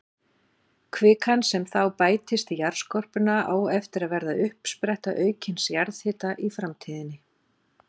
Kvikan sem þá bættist í jarðskorpuna á eftir að verða uppspretta aukins jarðhita í framtíðinni.